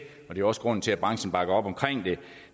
er også grunden til at branchen bakker op om